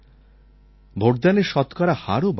ভোটদানের শতকরা হারও বাড়ছে